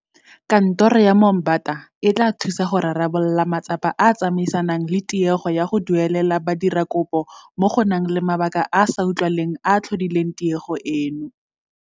Kantoro ya Moombata e tla thusa go rarabolola matsapa a a tsamaisanang le tiego ya go duelela badiradikopo mo go nang le mabaka a a sa utlwagaleng a a tlhodileng tiego eno.